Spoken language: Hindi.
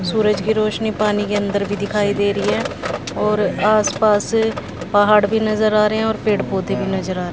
सूरज की रोशनी पानी के अंदर भी दिखाई दे रही है और आस पास पहाड़ भी नजर आ रहे है और पेड़ पौधे भी नजर आ--